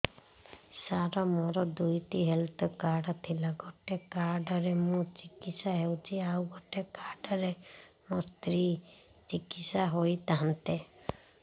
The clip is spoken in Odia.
ସାର ମୋର ଦୁଇଟି ହେଲ୍ଥ କାର୍ଡ ଥିଲା ଗୋଟେ କାର୍ଡ ରେ ମୁଁ ଚିକିତ୍ସା ହେଉଛି ଆଉ ଗୋଟେ କାର୍ଡ ରେ ମୋ ସ୍ତ୍ରୀ ଚିକିତ୍ସା ହୋଇଥାନ୍ତେ